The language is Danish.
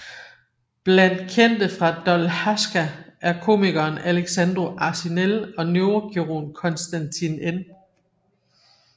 Blandt kendte fra Dolhasca er komikeren Alexandru Arșinel og neurokirurgen Constantin N